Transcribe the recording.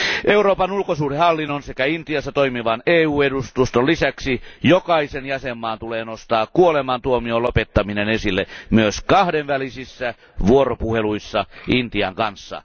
Euroopan ulkosuhdehallinnon sekä Intiassa toimivan EU edustuston lisäksi jokaisen jäsenvaltion nostaa kuolemantuomion lopettaminen esille myös kahdenvälisissä vuoropuheluissa Intian kanssa.